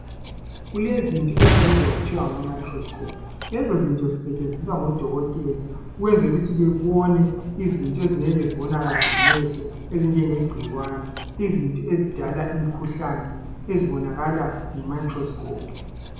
Kulezinto ezibizwa kuthiwa ngama microscope Lezozinto zisetshenziswa ngodokotela ukwenzela ukuthi bebone izinto ezingeke zibonakale ngamehlo ezinjenge gcikwane izinto ezidala imkhuhlane ezibonakalà nge microscope